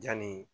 Janni